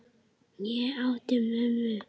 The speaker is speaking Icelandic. Ég átti mömmu.